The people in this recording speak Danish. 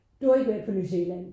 Du har ikke været på New Zealand